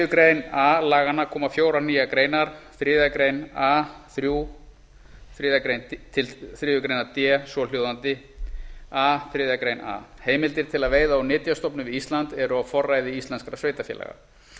grein laganna koma fjórar nýjar greinar þriðju grein a þriðju grein d svohljóðandi a heimildir til veiða úr nytjastofnum við ísland eru á forræði íslenskra sveitarfélaga